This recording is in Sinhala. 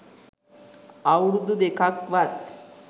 අවුරුදු දෙකක්වත්